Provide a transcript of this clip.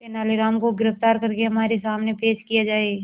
तेनालीराम को गिरफ्तार करके हमारे सामने पेश किया जाए